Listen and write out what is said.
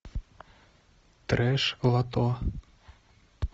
трэш лото